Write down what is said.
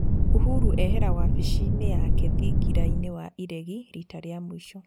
Uhuro ehera wabisi yake thingira-inĩ wa iregi rita rĩa mũico